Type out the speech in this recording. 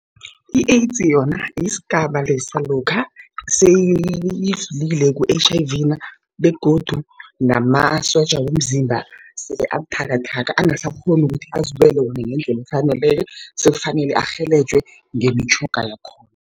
I-AIDS yona yisigaba lesa lokha seyidlulile ku-H_I_V begodu namasotja womzimba sele abuthakathaka angasakghoni ukuthi azilwele wona ngendlela efaneleko, sekufanele arhelejwe ngemitjhoga yakhona.